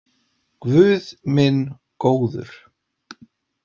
Guð minn góður.